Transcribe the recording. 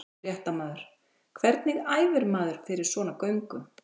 Fréttamaður: Hvernig æfir maður fyrir svona göngu?